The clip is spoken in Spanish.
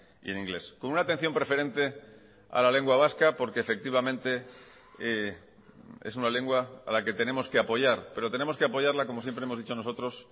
y en inglés con una atención preferente a la lengua vasca porque efectivamente es una lengua a la que tenemos que apoyar pero tenemos que apoyarla como siempre hemos dicho nosotros